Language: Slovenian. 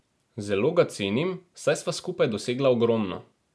Zelo ga cenim, saj sva skupaj dosegla ogromno.